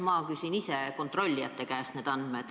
Ma küsin ise kontrollijate käest need andmed.